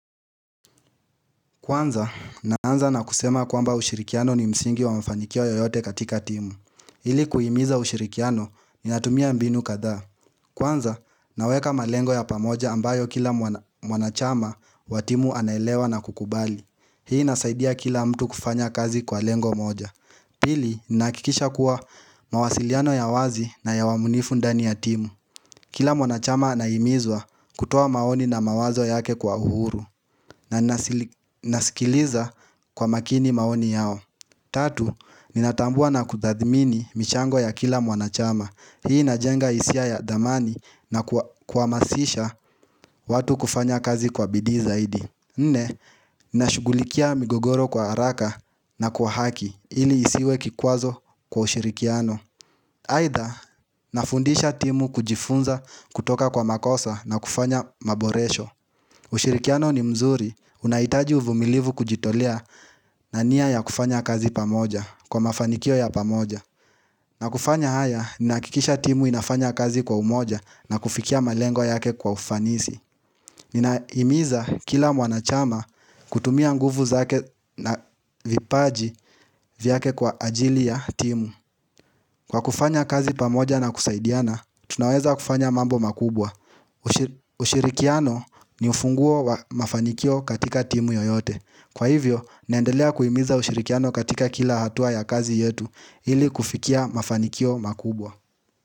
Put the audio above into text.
Kwanza, naanza na kusema kwamba ushirikiano ni msingi wa mfanikio yoyote katika timu. Ili kuhimiza ushirikiano, ni natumia mbinu kadhaa. Kwanza, naweka malengo ya pamoja ambayo kila mwanachama wa timu anaelewa na kukubali. Hii nasaidia kila mtu kufanya kazi kwa lengo moja. Pili, nahakikisha kuwa mawasiliano ya wazi na ya uaminifu ndani ya timu. Kila mwanachama anahimizwa kutoa maoni na mawazo yake kwa uhuru. Na nasikiliza kwa makini maoni yao Tatu, ninatambua na kutadhimini michango ya kila mwanachama Hii inajenga hisia ya dhamani na kuhamasisha watu kufanya kazi kwa bidii zaidi Nne, nashugulikia migogoro kwa haraka na kwa haki ili isiwe kikwazo kwa ushirikiano Aidha, nafundisha timu kujifunza kutoka kwa makosa na kufanya maboresho ushirikiano ni mzuri unahitaji uvumilivu kujitolea na nia ya kufanya kazi pamoja kwa mafanikio ya pamoja na kufanya haya ni nahakikisha timu inafanya kazi kwa umoja na kufikia malengwo yake kwa ufanisi Ninahimiza kila mwanachama kutumia nguvu zake na vipaji vyake kwa ajili ya timu Kwa kufanya kazi pamoja na kusaidiana, tunaweza kufanya mambo makubwa ushirikiano ni ufunguo wa mafanikio katika timu yoyote Kwa hivyo, naendelea kuimiza ushirikiano katika kila hatua ya kazi yetu ili kufikia mafanikio makubwa.